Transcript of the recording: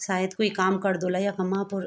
सायद कुई काम करदा ह्वला यखमा अपड।